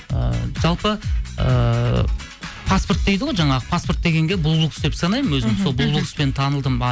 ы жалпы ыыы паспорт дейді ғой жаңағы паспорт дегенге бұлбұл құс деп санаймын өзім сол бұлбұл құспен танылдым